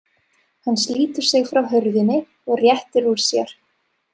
Hann slítur sig frá hurðinni og réttir úr sér.